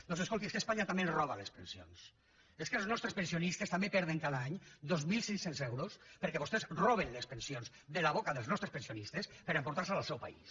doncs escoltin és que espanya també ens roba les pensions és que els nostres pensionistes també perden cada any dos mil cinc cents euros perquè vostès roben les pensions de la boca dels nostres pensionistes per emportar se la al seu país